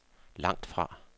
langtfra